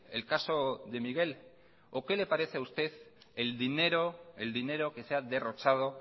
el caso de miguel o qué le parece a usted el dinero el dinero que se ha derrochado